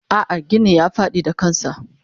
Ah ah ginin ya fadi da kansa.